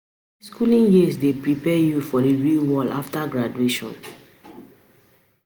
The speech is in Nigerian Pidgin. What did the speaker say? um Schooling years dey prepare you for the real world after graduation.